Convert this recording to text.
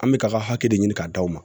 An bɛ ka ka hakɛ de ɲini ka d'aw ma